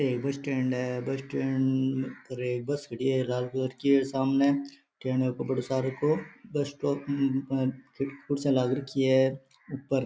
ये bus stand है जिसमे बस खड़ी है लाल कलर की टेंट के ऊपर बहुत सारे को कुर्सियां लग राखी है।